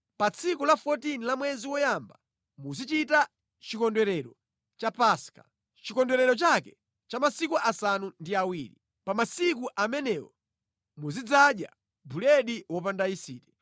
“ ‘Pa tsiku la 14 la mwezi woyamba muzichita chikondwerero cha Paska, chikondwerero chake cha masiku asanu ndi awiri. Pa masiku amenewo muzidzadya buledi wopanda yisiti.